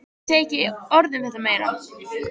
Ég segi ekki orð um þetta meira.